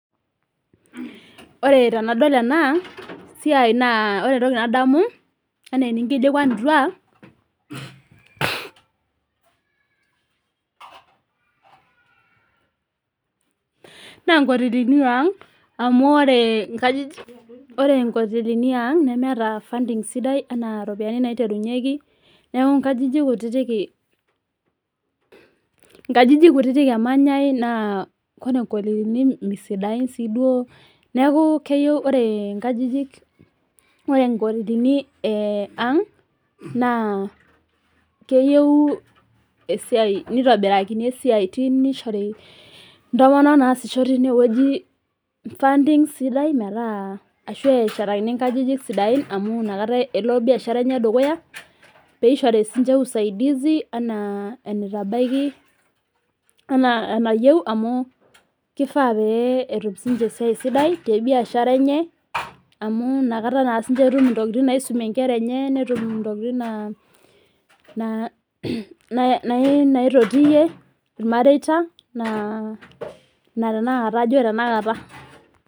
Ore tenadol enasiai naa ore entoki nadamu naa nkotelini amu ore nkotelini yaang nemeeta funding sidai ena ropiani naiterunyieki neeku nkajijik kutiti emanyai naa ore nkotelini misidain sii duo neeku ore nkotelini ang naa keyieu esiai keyieu mitobirakini esiai keyieu nishori ntomonok nasisho tenewueji funding sidai metaa ashu eshatakini nkajijik sidain amu enakata elo biashara enye dukuya pee eishori sinche usaidizi enaa eneitabaki ena enayieu amu kifaa pee etum ninche esiai sidai tee biashara enye amuu nakata etum ntokitin nisumie Nkera enye netum ntokitin naitotie irmarieta